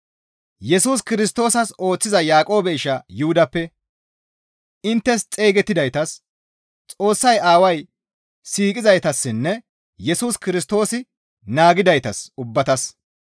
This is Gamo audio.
Yesus Kirstoosas ooththiza Yaaqoobe isha Yuhudappe, inttes xeygettidaytas, Xoossay Aaway siiqizaytassinne Yesus Kirstoosi naagidaytas ubbatas,